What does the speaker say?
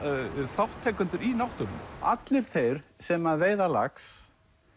þátttakendur í náttúrunni allir þeir sem að veiða lax